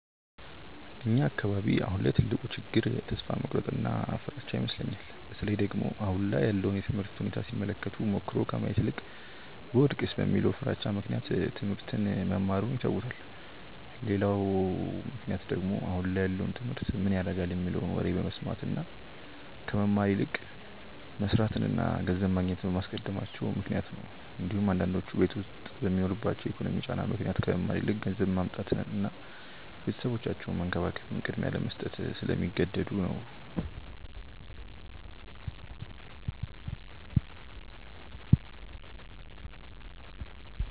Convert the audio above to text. እኛ አካባቢ አሁን ላይ ትልቁ ችግር ተስፋ መቁረጥ እና ፍራቻ ይመስለኛል። በተለይ ደግሞ አሁን ላይ ያለውን የትምህርት ሁኔታ ሲመለከቱ ሞክሮ ከማየት ይልቅ ብወድቅስ በሚለው ፍራቻ ምክንያት ትሞህርት መማሩን ይተውታል። ሌላው ምክንያት ደግሞ አሁን ላይ ያለውን ትምህርት ምን ያረጋል የሚለውን ወሬ በመስማት እና ከመማር ይልቅ መስርትን እና ገንዘብ ማግኘትን በማስቀደማቸው ምክንያት ነው እንዲሁም አንዳንዶቹ ቤት ዉስጥ በሚኖርባቸው የኢኮኖሚ ጫና ምክንያት ከመማር ይልቅ ገንዘብ ማምጣትን እና ቤተሰባቸውን መንከባከብን ቅድሚያ ለመስጠት ስለሚገደዱ ነው።